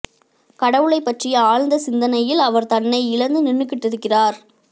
கடவுளைப் பற்றிய ஆழ்ந்த சிந்தனையில அவர் தன்னை இழந்து நின்னுக்கிட்டிருக்கார்